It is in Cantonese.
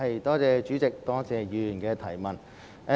代理主席，多謝議員的補充質詢。